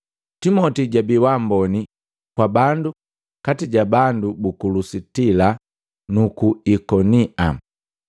Timoti jabi wa mboni kwa bandu kati ja bandu buku Lusitila nuku Ikonia.